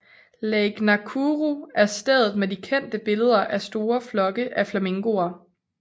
Lake Nakuru er stedet med de kendte billeder af store flokke af flamingoer